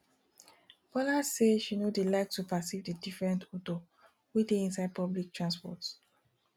bola say she no dey like to perceive the different odor wey dey inside public transport